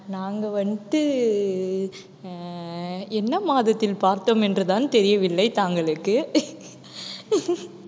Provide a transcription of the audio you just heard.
நாங்க வந்துட்டு அஹ் என்ன மாதத்தில் பார்த்தோம் என்றுதான் தெரியவில்லை தாங்களுக்கு